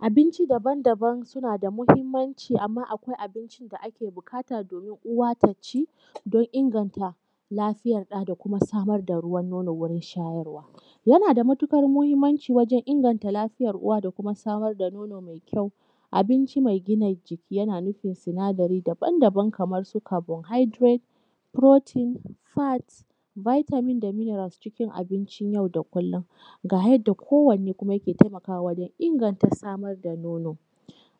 Abinci daban daban suna da mahimmanci. Amma akwai abinci da ake buƙata domin uwa ta ci don inganta lafiyar ɗa da kuma samar da ruwan nono wurin shayarwa. Yana da matuƙar muhimmanci wajan inganta lafiyar uwa da kuma samar da nono mai kyau. Abinci mai gina jiki yana nufin sinadari daban daban kamar su carbohydrates, proteins, fats, vitamins da mineral, cikin abincin yau da kullum ga yanda kowanne kuma yake taimakwa wajan inganta Samar da nono.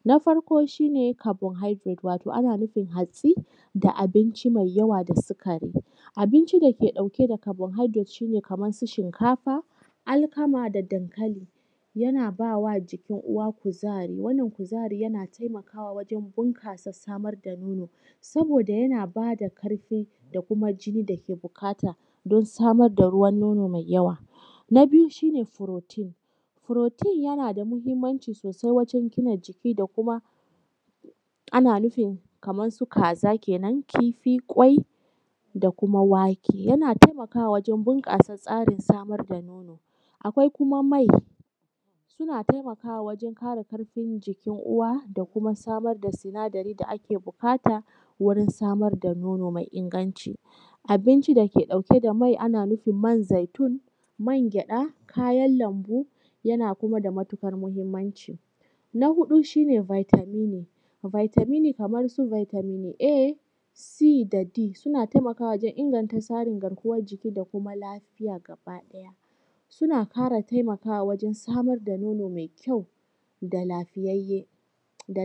Na farko shi ne carbohydrate wato ana nufin hatsi da abincin mai yawa da sukari. Abinci da ke ɗauke da carbohydrate shi ne kamar su shinkafa, alkama, da dankali. Yana ba wa jikin uwa kuzari wannan kuzari yana taimakawa wajan buƙasa samar da nono, saboda yana ba da ƙarfi da kuma jini da ke buƙata don samar da ruwan nono mai yawa. Na biyu shi ne protein yana da muhimmanci sosai wajan gina jiki da kuma ana nufi kamar su kaza kenan, kifi, ƙwai, da kuma wake. Yana taimakawa wajan bunƙasa tsarin samar da nono. Akwai kuma mai suna taimakawa wajan ƙara ƙarfin jikin uwa da kuma samar da sinadari da ake buƙata wurin samar da nono mai inganci. Abinci da ke ɗauke da mai ana nufin man zaitun, magyada, kayan lambu, yana kuma da matuƙar muhimmanci. Na huɗu shi ne vitamin. Vitaminin kamar su vitamin A, C da D Suna taimakawa wajan inganta tsarin garkuwan jiki da kuma lafiya gaba ɗaya. Suna fara taimakawa wajan samar da nono mai kyau da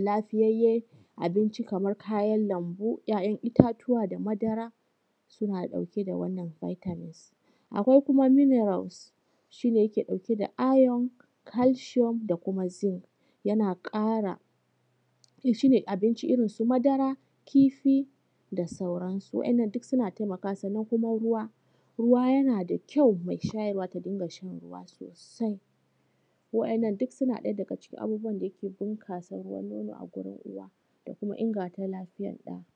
lafiyayen abinci kamar kayan lambu, ‘ya’yan itatuwa da madara, suna ɗauke da wannan vitamins ɗin. Akwai kuma minerals shi ne yake ɗauke da iron, calcium, da kuma zinc. Shi ne abinci irin su madara, kifi da sauransu. Wa'inan duk sunan taimakawa, sannan kuma ruwa. Ruwa yana da kyau mai shayarwa ta dinga shan ruwa sosai. Wa'inan duk suna ɗaya daga cikin abubuwa da yake bunƙasa ruwa nono a wajan uwa da kuma inganta lafiya ɗa.